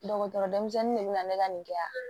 Dɔgɔtɔrɔ denmisɛnnin de bɛ na ne ka nin kɛ yan